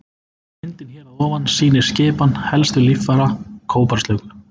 Myndin hér að ofan sýnir skipan helstu líffæra kóbraslöngu.